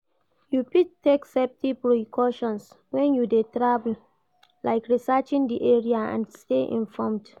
You fit take safety precautions when you dey travel, like researching di area and stay informed.